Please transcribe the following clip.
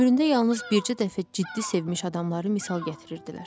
Ömründə yalnız bircə dəfə ciddi sevmiş adamları misal gətirirdilər.